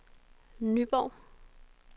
Nyborg